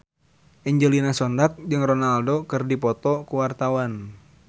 Angelina Sondakh jeung Ronaldo keur dipoto ku wartawan